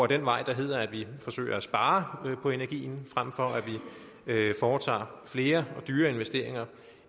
den vej der hedder at vi forsøger at spare på energien frem for at vi foretager flere og dyre investeringer